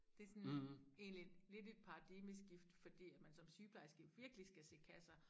Det sådan egentlig lidt et paradigmeskifte fordi at man som sygeplejerske virkelig skal se kasser